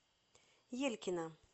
елькина